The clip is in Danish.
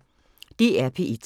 DR P1